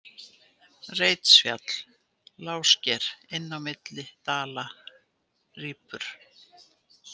Reitsfjall, Lágusker, Inn milli Dala, Rípur